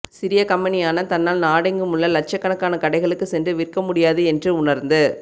சிறிய கம்பெனியான தன்னால் நாடெங்குமுள்ள லட்சக்கணக்கான கடைகளுக்கு சென்று விற்க முடியாது என்று உணர்ந்து